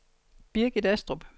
Birgit Astrup